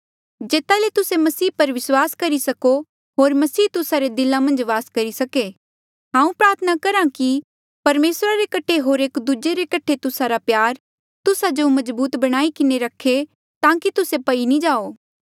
जेता ले तुस्से मसीह पर विस्वास करी सको होर मसीह तुस्सा रे दिला मन्झ वास करी सके हांऊँ प्रार्थना करहा कि परमेसरा रे कठे होर एक दूजे कठे तुस्सा रा प्यार तुस्सा जो मजबूत बणाई रखे ताकि तुस्से पई नी जाओ